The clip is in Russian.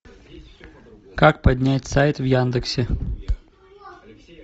как поднять сайт в яндексе